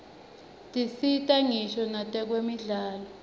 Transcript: tisita ngisho nakwetemidlalo